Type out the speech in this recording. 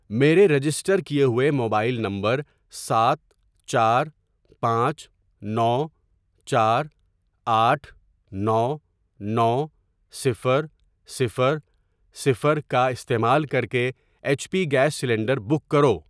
میرے رجسٹر کیے ہوئے موبائل نمبر سات چار پانچ نو چار آٹھ نو نو صفر صفر صفر کا استعمال کرکے H P gas cylinder book کرو۔